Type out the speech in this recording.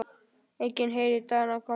Enginn heyrir dagana koma.